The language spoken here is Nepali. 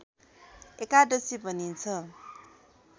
एकादशी भनिन्छ